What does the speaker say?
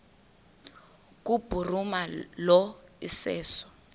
kubhuruma lo iseso